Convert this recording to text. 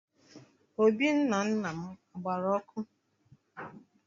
Obì nna nna m a gbara ọkụ?